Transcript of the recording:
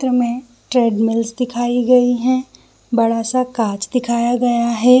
तुम्हें ट्रेडमिल्स दिखाई गई है बड़ा-सा काँच दिखाया गया है ।